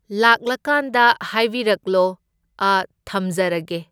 ꯂꯥꯛꯂꯀꯥꯟꯗ ꯍꯥꯏꯕꯤꯔꯛꯂꯣ, ꯑꯥ ꯊꯝꯖꯔꯒꯦ꯫